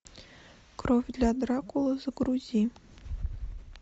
кровь для дракулы загрузи